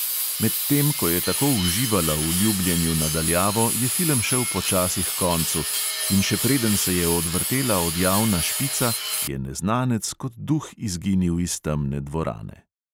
Medtem ko je tako uživala v ljubljenju na daljavo, je film šel počasi h koncu, in še preden se je odvrtela odjavna špica, je neznanec kot duh izginil iz temne dvorane.